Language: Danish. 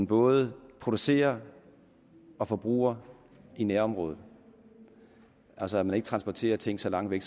både producerer og forbruger i nærområdet altså at man ikke transporterer ting så langt væk